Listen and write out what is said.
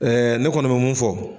ne kɔni bɛ mun fɔ.